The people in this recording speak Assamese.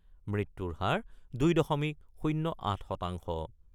মৃত্যুৰ হাৰ ২ দশমিক ০-৮ শতাংশ।